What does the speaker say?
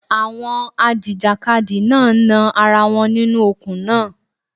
Àwọn a jìjàkadì náà ń nan ara wọn nínú okùn náà.